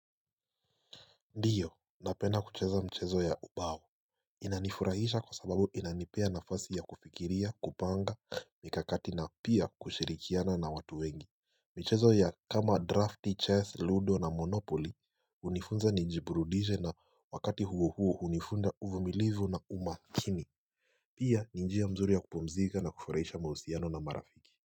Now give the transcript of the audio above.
Ndiyo, napenda kucheza mchezo ya ubao Inanifurahisha kwa sababu inanipea nafasi ya kufikiria, kupanga, mikakati na pia kushirikiana na watu wengi. Mchezo ya kama drafti, chess, ludo na monopoli, unifunza nijiburudishe na wakati huo huo unifunza uvumilivu na umakini Pia ni njia mzuri ya kupomzika na kufurahisha mahusiano na marafiki.